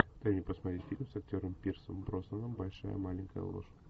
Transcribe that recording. дай мне посмотреть фильм с актером пирсом броснаном большая маленькая ложь